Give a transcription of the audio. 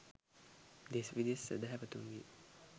දෙස් විදෙස් සැදැහවතුන්ගේ